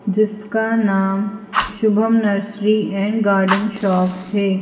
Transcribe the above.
जिसका नाम Shubham nursery and garden shop है।